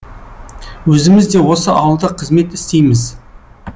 өзіміз де осы ауылда қызмет істейміз